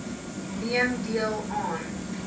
neem deel aan